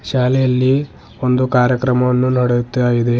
ಶಾಲೆಯಲ್ಲಿ ಒಂದು ಕಾರ್ಯಕ್ರಮವನ್ನು ನಡೆಯುತ್ತಾ ಇದೆ.